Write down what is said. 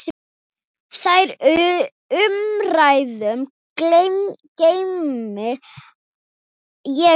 Þær umræður geymi ég vel.